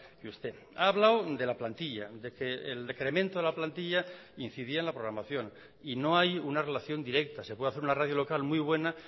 que usted ha hablado de la plantilla de que el decremento de la plantilla incidía en la programación y no hay una relación directa se puede hacer una radio local muy buena